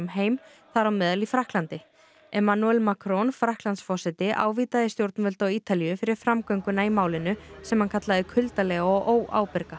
heim þar á meðal í Frakklandi Macron Frakklandsforseti ávítaði stjórnvöld á Ítalíu fyrir framgönguna í málinu sem hann kallaði kuldalega og óábyrga